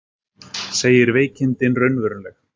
Segir veikindin raunveruleg